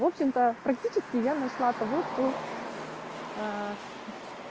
в общем то практически я нашла того кто